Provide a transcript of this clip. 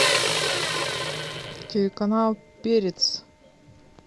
телеканал перец